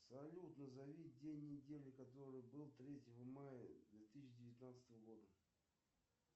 салют назови день недели который был третьего мая две тысячи девятнадцатого года